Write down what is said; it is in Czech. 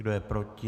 Kdo je proti?